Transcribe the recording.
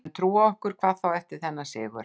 Við höfum trú á okkur, hvað þá eftir þennan sigur.